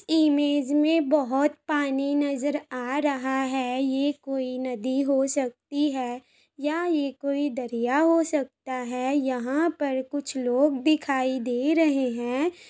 Image में बहुत पानी नजर आ रहा है ये कोई नदी हो सकती है या ये कोई दरिया हो सकता है। यहां पर कुछ लोग दिखाई दे रहे हैं।